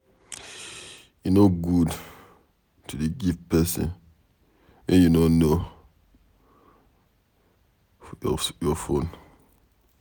E no good to dey give person wey you no know your phone.